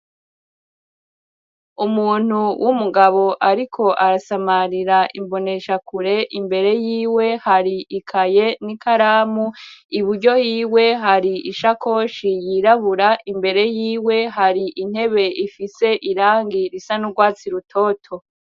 Umuntu w'umugabo ariko arasamarira imboneshakure, imbere yiwe hari ikaye n'ikaramu, iburyo hiwe hari ishakoshi yirabura, imbere yiwe hari intebe ifise irangi risa n'urwatsi rutoto.